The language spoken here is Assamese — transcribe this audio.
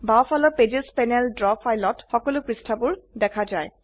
বাওফালৰ পেজেছ প্যানেলে ড্ৰ ফাইলত সকলো পৃষ্ঠাবোৰ দেখা যায়